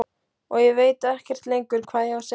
Og ég veit ekkert lengur hvað ég á að segja.